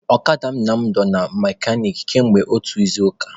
Ọkada Nna m dọ na mekanik kamgbe otu izuụka.